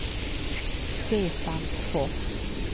Stefan Fors